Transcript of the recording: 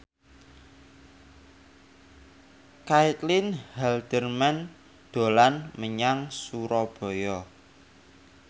Caitlin Halderman dolan menyang Surabaya